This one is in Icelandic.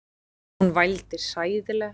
Hún vældi hræðilega.